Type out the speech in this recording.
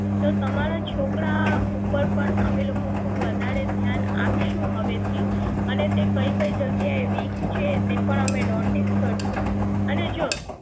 તો તમારા છોકરા ઉપર પણ અમે લોકો ખુબ વધારે ધ્યાન આપશુ હવે થી અને તે કઈ કઈ જગ્યા એ weak છે તે પણ અમે notice કરશું અને જો